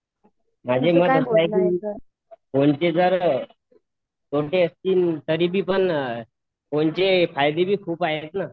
माझे मत असे आहे कि फोनचे जरतोटे असतील तरी फोनचे फायंदे पण खुप आहेत ना